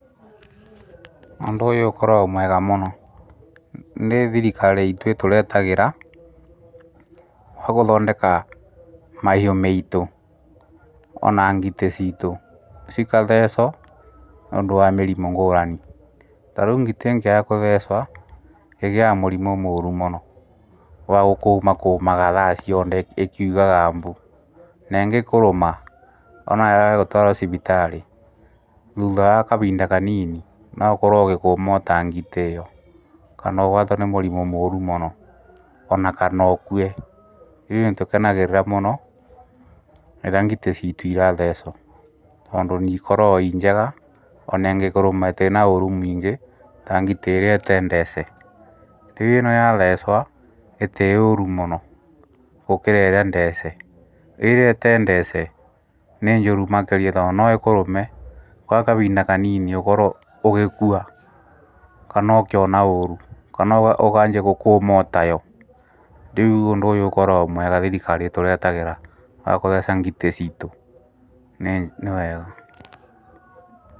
Ũndũ ũyũ ũkagwo mwega mũno, nĩ thirikari iitũ ĩtũretagĩra wa gũthondeka mahiũ meitũ ona ngitĩ ciitũ cikatheco, nĩũndũ wa mĩrimũ ngũũrani, ta rĩu ngitĩ ĩngĩaga kũthecwa ĩgĩaga mũrimũ mũũru mũno, wa gũkũũma kũũmaga thaa cionde ĩkiugaga mbu, ne ĩngĩkũrũma ona wage gũtwarwo cibitarĩ thutha wa kabinda kanini noukorwo ũgĩkũũma ota ngitĩ ĩyo, kana ũgwatwo nĩ mũrimũ mũũru mũno ona kana ũkue, ithuĩ nĩtũkenagĩrĩra mũno rĩrĩa ngitĩ ciitũ irathecwa, tondũ nĩikorago ii njega ona ĩngĩkũrũma ĩtirĩ na ũũru mũingi ta ngitĩ ĩrĩa ĩtee ndece rĩu ĩno yathecwa, ĩtĩĩ ũũru mũno gũkĩra ĩrĩa ndeece, ĩĩrĩa ĩtee ndeece nĩ njũru makĩria o noĩkũrũme gwa kavinda kanini ũkorwo ũgĩkua kana ũkĩona ũũru kana ũkanjia gũkũũma otayo, rĩu ũndũ ũyũ ũkoragwo mwega thirikari ĩtũretagira wa gũtheeca ngitĩ ciitũ, nĩ wega.